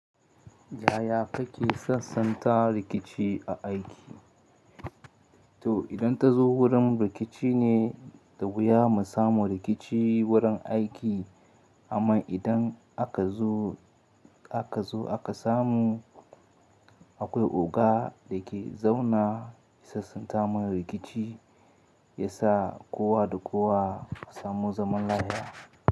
Yaya kake sassanta rikici a aiki? To idan ta zo wurin rikici ne, da wuya mu samu rikici wurin aiki. Amma idan aka zo aka zo aka samu, akwai oga da ya ke zauna sassanta mun rikici, ya sa kowa da kowa su samu zaman lafiya.